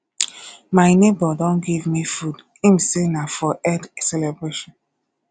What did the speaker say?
my nebor don give me food im say na for eid celebration